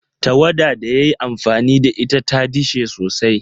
Tawada da ya yi amfani da ita ta dishe sosai.